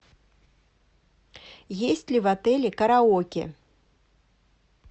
есть ли в отеле караоке